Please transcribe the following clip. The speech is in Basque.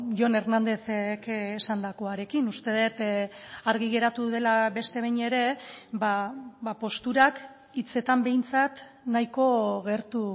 jon hernándezek esandakoarekin uste dut argi geratu dela beste behin ere posturak hitzetan behintzat nahiko gertu